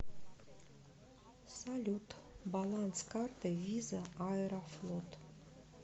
салют баланс карты виза аэрофлот